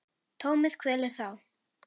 Tómið kvelur þá.